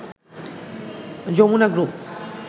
Jamuna group